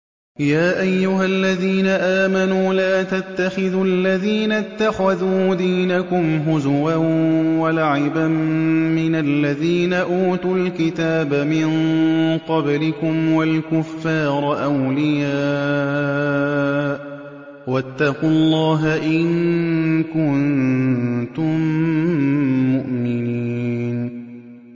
يَا أَيُّهَا الَّذِينَ آمَنُوا لَا تَتَّخِذُوا الَّذِينَ اتَّخَذُوا دِينَكُمْ هُزُوًا وَلَعِبًا مِّنَ الَّذِينَ أُوتُوا الْكِتَابَ مِن قَبْلِكُمْ وَالْكُفَّارَ أَوْلِيَاءَ ۚ وَاتَّقُوا اللَّهَ إِن كُنتُم مُّؤْمِنِينَ